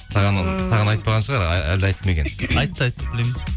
саған айтпаған шығар әлде айтты ма екен айтты айтты білемін